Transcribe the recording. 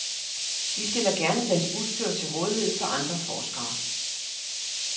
De stiller gerne deres udstyr til rådighed for andre forskere.